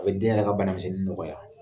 O be den yɛrɛ ka banamisɛnnin nɔgɔya.